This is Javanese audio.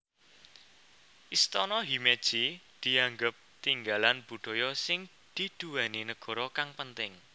Istana Himeji dianggep tinggalan budaya sing diduweni negara kang penting